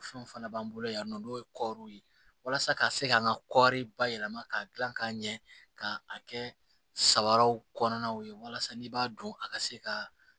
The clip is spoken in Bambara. Fɛnw fana b'an bolo yan nɔ n'o ye kɔɔriw ye walasa ka se k'an ka kɔɔri bayɛlɛma k'a dilan k'a ɲɛ k'a kɛ sabaraw kɔnɔnaw ye walasa n'i b'a dɔn a ka se ka